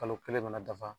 Kalo kelen mana dafa